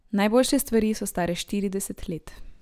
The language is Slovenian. Najboljše stvari so stare štirideset let.